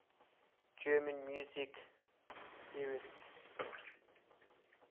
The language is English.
german music theorists